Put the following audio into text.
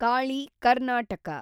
Kali , Karnataka